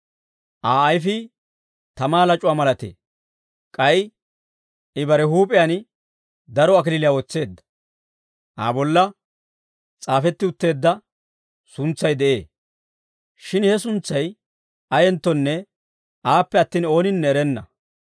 Aa ayfii tamaa lac'uwaa malatee; k'ay I bare huup'iyaan daro kalachchaa wotseedda. Aa bolla s'aafetti utteedda suntsay de'ee; shin he suntsay ayenttonne aappe attin, ooninne erenna.